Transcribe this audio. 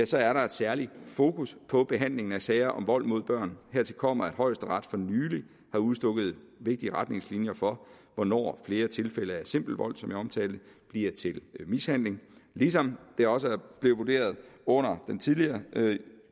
så er der et særligt fokus på behandlingen af sager om vold mod børn hertil kommer at højesteret for nylig har udstukket vigtige retningslinjer for hvornår flere tilfælde af simpel vold som jeg omtalte bliver til mishandling ligesom det også er blevet vurderet under den tidligere